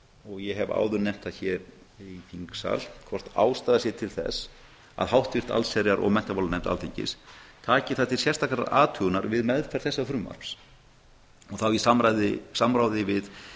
og ég hef áður nefnt það hér í þingsal hvort ástæða sé til að háttvirt allsherjar og menntamálanefnd alþingis taki til sérstakrar athugunar við meðferð þessa frumvarps og þá í samráði við